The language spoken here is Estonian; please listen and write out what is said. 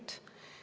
Palun!